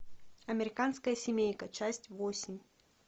американская семейка часть восемь